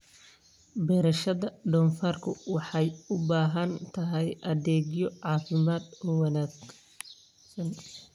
Beerashada doofaarku waxay u baahan tahay adeegyo caafimaad oo wanaagsan.